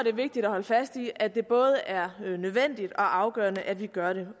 er vigtigt at holde fast i at det både er nødvendigt og afgørende at vi gør det